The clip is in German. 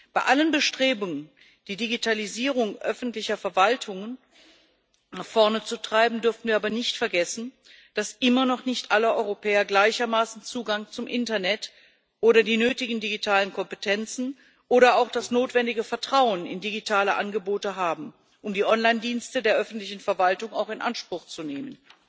Bei allen Bestrebungen, die Digitalisierung öffentlicher Verwaltungen nach voranzutreiben, dürfen wir aber nicht vergessen, dass immer noch nicht alle Europäer gleichermaßen Zugang zum Internet oder die nötigen digitalen Kompetenzen oder auch das notwendige Vertrauen in digitale Angebote haben, um die Online Dienste der öffentlichen Verwaltung auch in Anspruch zu nehmen.